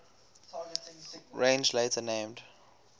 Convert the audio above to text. range later named